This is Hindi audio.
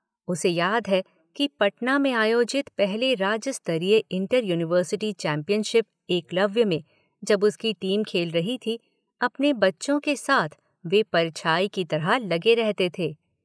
उसे याद है कि पटना में आयोजित पहले राज्य स्तरीय इंटर– यूनिवर्सिटी चैम्पियनशिप ‘एकलव्य’ में जब उसकी टीम खेल रही थी अपने बच्चों के साथ वे परछाईं की तरह लगे रहते थे।